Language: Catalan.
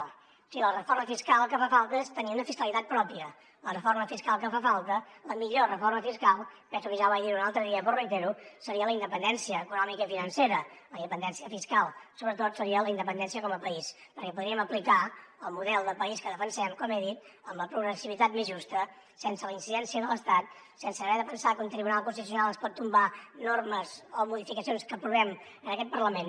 o sigui la reforma fiscal que fa falta és tenir una fiscalitat pròpia la reforma fiscal que fa falta la millor reforma fiscal penso que ja vaig dir ho un altre dia però ho reitero seria la independència econòmica i financera la independència fiscal sobretot seria la independència com a país perquè podríem aplicar el model de país que defensem com he dit amb la progressivitat més justa sense la incidència de l’estat sense haver de pensar que un tribunal constitucional ens pot tombar normes o modificacions que aprovem en aquest parlament